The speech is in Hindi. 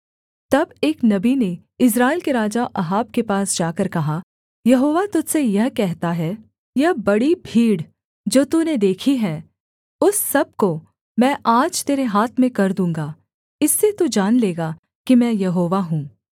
तब एक नबी ने इस्राएल के राजा अहाब के पास जाकर कहा यहोवा तुझ से यह कहता है यह बड़ी भीड़ जो तूने देखी है उस सब को मैं आज तेरे हाथ में कर दूँगा इससे तू जान लेगा कि मैं यहोवा हूँ